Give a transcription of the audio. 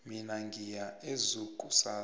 mina ngiya ezoo kusasa